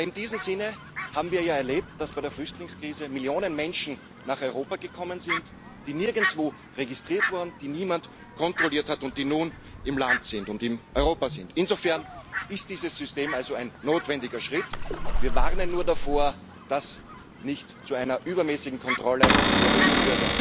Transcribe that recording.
Aber in diesem Sinne haben wir ja erlebt, dass bei der Flüchtlingskrise Millionen Menschen nach Europa gekommen sind, die nirgendwo registriert wurden, die niemand kontrolliert hat und die nun im Land und in Europa sind. Insofern ist dieses System also ein notwendiger Schritt. Wir warnen nur davor, dass es nicht zu einer übermäßigen Kontrolle der EU Bürger führen darf.